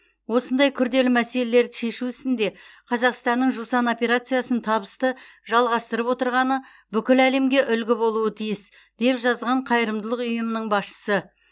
осындай күрделі мәселелерді шешу ісінде қазақстанның жусан операциясын табысты жалғастырып отырғаны бүкіл әлемге үлгі болуы тиіс деп жазған қайырымдылық ұйымының басшысы